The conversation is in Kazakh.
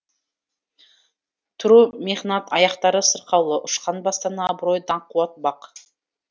тұру мехнат аяқтары сырқаулы ұшқан бастан абырой даңқ қуат бақ